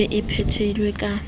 e be e phethilwe ka